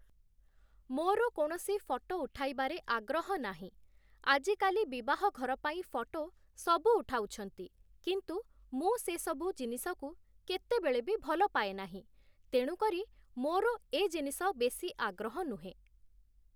ମୋ'ର କୌଣସି ଫଟୋ ଉଠାଇବାରେ ଆଗ୍ରହ ନାହିଁ, ଆଜିକାଲି ବିବାହଘର ପାଇଁ ଫଟୋ ସବୁ ଉଠାଉଛନ୍ତି କିନ୍ତୁ ମୁଁ ସେ ସବୁ ଜିନିଷକୁ କେତେବେଳେ ବି ଭଲ ପାଏନାହିଁ, ତେଣୁ କରି ମୋ'ର ଏ ଜିନିଷ ବେଶୀ ଆଗ୍ରହ ନୁହେଁ ।